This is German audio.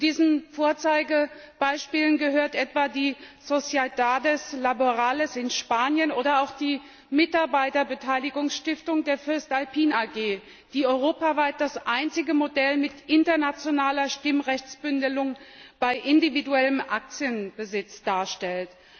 Zu diesen Vorzeigebeispielen gehören etwa die sociedades laborales in Spanien oder auch die Mitarbeiterbeteiligungsstiftung der voestalpine AG, die europaweit das einzige Modell mit internationaler Stimmrechtsbündelung bei individuellem Aktienbesitz darstellt.